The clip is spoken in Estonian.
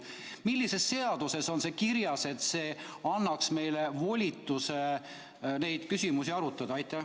Milline seadus annab meile volituse neid küsimusi arutada?